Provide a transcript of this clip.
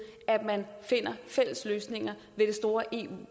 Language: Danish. at man finder fælles løsninger ved det store eu